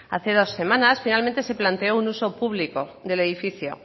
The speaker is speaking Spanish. hace dos semanas finalmente se planteó un uso público del edificio